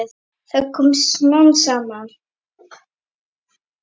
Það kom smám saman.